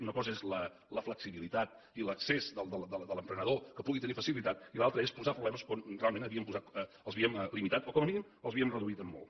una cosa és la flexibilitat i l’accés de l’emprenedor que pugui tenir facilitat i l’altra és posar problemes on realment els havíem limitat o com a mínim els havíem reduït en molt